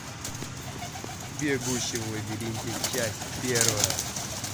бегущий в лабиринте часть первая